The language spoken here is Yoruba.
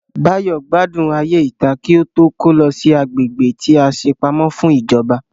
Báyọ̀ gbádùn ayé ìta kí ó tó kó lọ sí agbègbè tí a ṣe pamọ́ fún ìjọba